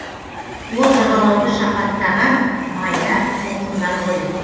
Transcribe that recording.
ол жағалауды шапаттаған майда толқындар ғой